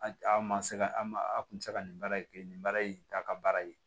A a ma se ka an ma a kun bɛ se ka nin baara in kɛ nin baara in t'a ka baara ye